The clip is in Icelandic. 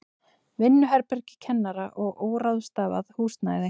Vinnuherbergi kennara og óráðstafað húsnæði.